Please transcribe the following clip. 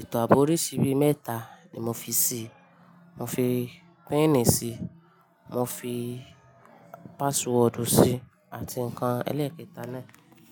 Eto ààbò oríṣirí bii mẹ́ta ni mo fi sí i. Mo fi píìnì sí i, mo fi páàsiwọ́ọ̀dù sí i àti nǹkan ẹlẹ́ẹ̀kẹta náà.